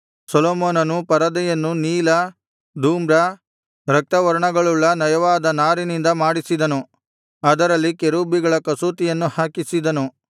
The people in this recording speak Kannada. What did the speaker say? ಸೊಲೊಮೋನನು ಪರದೆಯನ್ನು ನೀಲ ಧೂಮ್ರ ರಕ್ತವರ್ಣಗಳುಳ್ಳ ನಯವಾದ ನಾರಿನಿಂದ ಮಾಡಿಸಿದನು ಅದರಲ್ಲಿ ಕೆರೂಬಿಗಳ ಕಸೂತಿಯನ್ನು ಹಾಕಿಸಿದನು